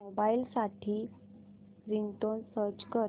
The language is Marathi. मोबाईल साठी रिंगटोन सर्च कर